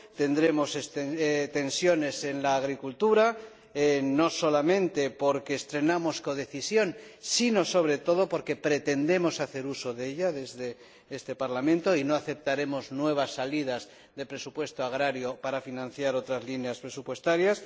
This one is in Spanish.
Tendremos tensiones en la agricultura, no solamente porque estrenamos codecisión, sino, sobre todo, porque pretendemos hacer uso de ella desde este Parlamento y no aceptaremos nuevas salidas de presupuesto agrario para financiar otras líneas presupuestarias